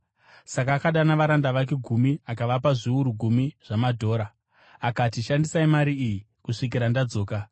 Saka akadana varanda vake gumi akavapa zviuru gumi zvamadhora. Akati, ‘Shandisai mari iyi kusvikira ndadzoka.’